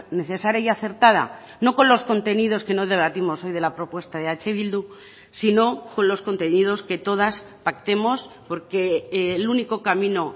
necesaria y acertada no con los contenidos que no debatimos hoy de la propuesta de eh bildu sino con los contenidos que todas pactemos porque el único camino